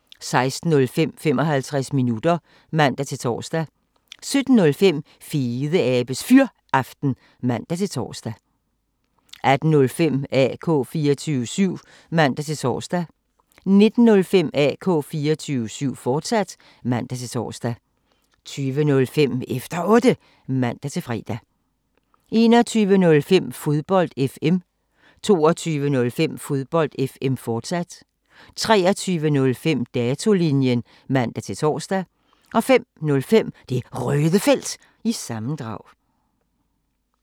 16:05: 55 minutter (man-tor) 17:05: Fedeabes Fyraften (man-tor) 18:05: AK 24syv (man-tor) 19:05: AK 24syv, fortsat (man-tor) 20:05: Efter Otte (man-fre) 21:05: Fodbold FM 22:05: Fodbold FM, fortsat 23:05: Datolinjen (man-tor) 05:05: Det Røde Felt – sammendrag